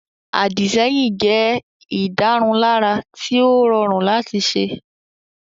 Àdìsẹ́yìn jẹ́ ìdárunlárà tí ó rọrùn láti ṣe